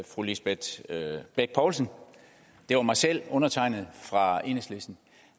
fru lisbeth bech poulsen og det var mig selv undertegnede fra enhedslisten